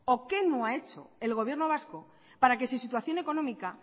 o qué no ha hecho el gobierno vasco para que su situación económica